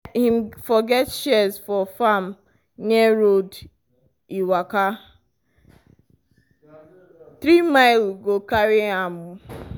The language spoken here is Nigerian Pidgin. him forget shears for farm near road e waka three mile go carry am.